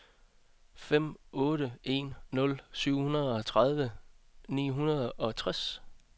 fem otte en nul syvogtredive ni hundrede og toogtres